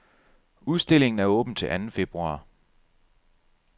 Udstillingen er åben til anden februar.